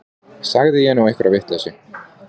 Sagði ég nú einhverja vitleysu.